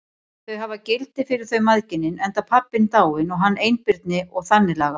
Þau hafi gildi fyrir þau mæðginin, enda pabbinn dáinn og hann einbirni og þannig lagað.